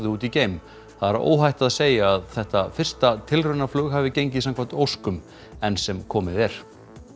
út í geim það er óhætt að segja að þetta fyrsta hafi gengið samkvæmt óskum enn sem komið er